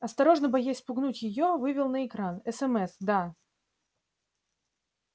осторожно боясь спугнуть её вывел на экране смс да